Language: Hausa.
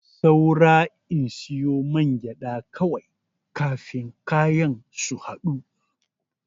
Saura in siyo mangyaɗa kawai kafin kayan su haɗu.